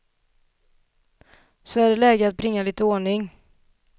Så det är läge att bringa lite ordning.